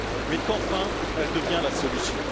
mais qu'enfin elle devient la solution.